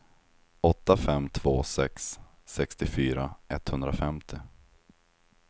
åtta fem två sex sextiofyra etthundrafemtio